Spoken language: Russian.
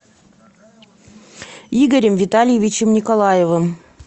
игорем витальевичем николаевым